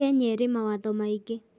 Kenya ĩrĩ mawatho maingĩ